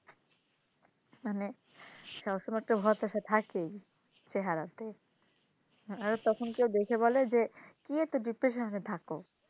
মানে সব সময় একটা হতাশা একটা থাকেই চেহারাতে আর তখন কেউ দেখে বলে যে কি এত depression হয়ে থাকো,